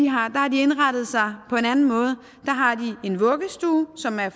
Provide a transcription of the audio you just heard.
har de indrettet sig på en anden måde der har de en vuggestue som er